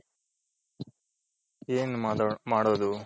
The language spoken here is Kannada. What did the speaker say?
ಏನ್ ಮಾಡೋದು.